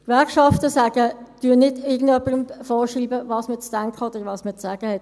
Die Gewerkschaften schreiben nicht irgendwem vor, was man zu denken oder zu sagen hat.